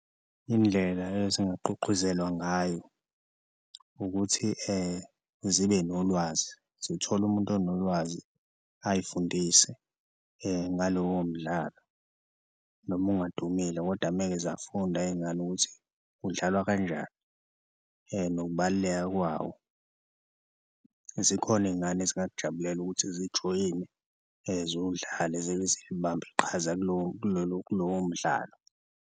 Indlela ezingagqugquzelwa ngayo ukuthi zibe nolwazi zithole umuntu onolwazi ayifundise ngalowo mdlalo noma ungadumile kodwa umeke zafunda iy'ngane ukuthi udlalwa kanjani nokubaluleka kwawo, zikhona iy'ngane ezingakujabulela ukuthi zijoyine, ziwudlale zibambe iqhaza kulowo mdlalo.